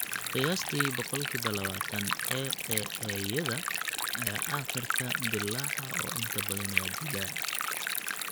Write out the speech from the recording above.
Qiyaastii boqolkiba labatan AAA-yada ayaa aakhirka dillaaca oo inta badan waa dilaa.